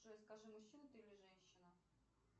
джой скажи мужчина ты или женщина